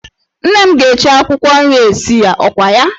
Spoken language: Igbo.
Nne m ga-eji akwụkwọ nri esi ya, ọkwa ya?